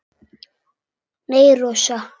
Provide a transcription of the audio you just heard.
Nei, Rósa.